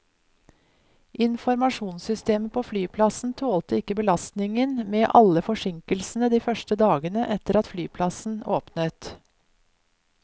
Informasjonssystemet på flyplassen tålte ikke belastningen med alle forsinkelsene de første dagene etter at flyplassen åpnet.